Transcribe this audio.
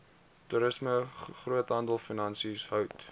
toerisme groothandelfinansies hout